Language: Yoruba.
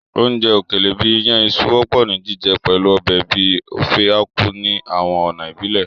Oúnjẹ òkèlè bìí iyàn iṣu wọ́pọ̀ ni jíjẹ pẹ̀lu ọbẹ̀ bíi Ofe Akwu ní àwọn ọ̀nà ìbílẹ̀.